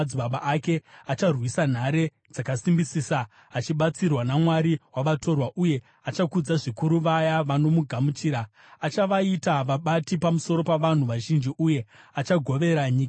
Acharwisa nhare dzakasimbisisa achibatsirwa namwari wavatorwa uye achakudza zvikuru vaya vanomugamuchira. Achavaita vabati pamusoro pavanhu vazhinji uye achagovera nyika nomutengo.